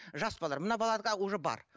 жас балалар мына балаларда уже бар